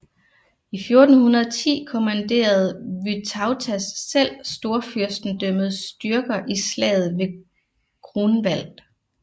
I 1410 kommanderede Vytautas selv storfyrstendømmets styrker i slaget ved Grunwald